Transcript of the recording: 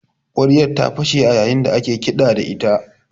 Ƙwaryar ta fashe a yayin da ake kiɗa da ita